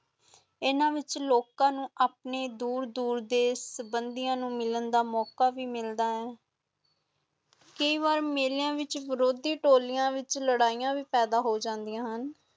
ਇੰਨਾ ਵਿਚ ਲੋਕਾਂ ਨੂੰ ਦੂਰ ਦੂਰ ਦੇ ਸਬੰਦੀਆਂ ਨੂੰ ਮਿਲਣ ਦਾ ਮੌਕਾ ਮਿਲਦਾ ਹੁਣ, ਕਈ ਵਾਰੀ ਮੇਲਿਆਂ ਵਿਚ ਵਿਰੋਧੀ ਟੋਲੀਆਂ ਵਿਚ ਲੜਾਈਆਂ ਵੀ ਪੈਦਾ ਹੋਜਾਂਦੀਆਂ ਹੁਣ